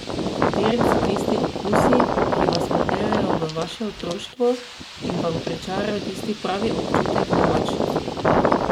Kateri so tisti okusi, ki vas popeljejo v vaše otroštvo in vam pričarajo tisti pravi občutek domačnosti?